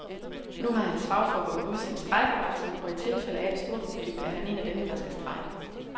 Nu har hans fagforbund udsendt strejkevarsel, og i tilfælde af en storkonflikt er han en af dem, der er skal strejke.